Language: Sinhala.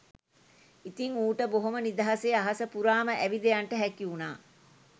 ඉතිං ඌට බොහොම නිදහසේ අහස පුරාම ඇවිද යන්ට හැකි වුණා